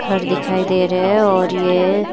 घर दिखाई दे रहे हैं और ये --